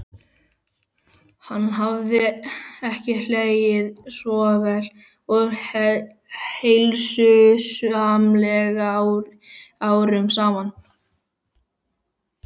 Hann hafði ekki hlegið svo vel og heilsusamlega árum saman.